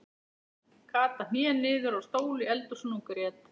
Kata hné niður á stól í eldhúsinu og grét.